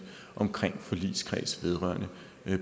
omkring forligskreds vedrørende